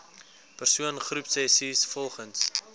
persoon groepsessies volgens